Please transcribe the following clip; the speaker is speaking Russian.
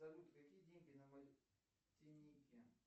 салют какие деньги на мартинике